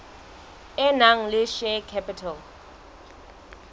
e nang le share capital